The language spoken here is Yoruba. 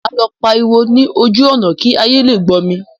Màá lọ pariwo ní ojú ọ̀nà kí ayé lè gbọ́ mi.